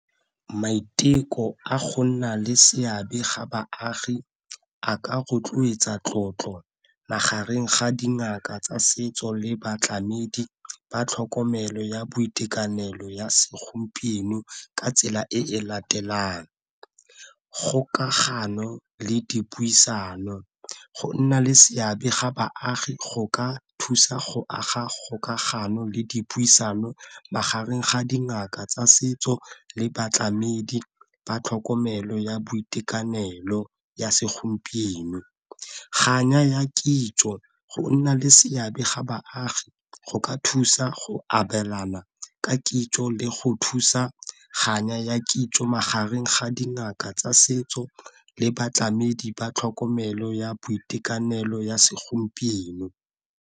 Maiteko a go nna le seabe ga baagi a ka rotloetsa tlotlo magareng ga dingaka tsa setso le batlamedi ba tlhokomelo ya boitekanelo ya segompieno ka tsela e latelang. Kgokagano le dipuisano, go nna le seabe ga baagi go ka thusa go aga kgokagano le dipuisano magareng ga dingaka tsa setso le batlamedi ba tlhokomelo ya boitekanelo ya segompieno. ya kitso go nna le seabe ga baagi go ka thusa go abelana ka kitso le go thusa kganya ya kitso magareng ga dingaka tsa setso le batlamedi ba tlhokomelo ya boitekanelo ya segompieno.